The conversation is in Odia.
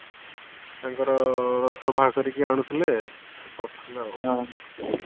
ତାଙ୍କର ରସ ବାହାର କରିକି ଆଣୁଥିଲେ ସେ କରୁଥିଲେ ଆଉ